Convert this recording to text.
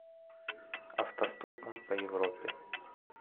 автостопом по европе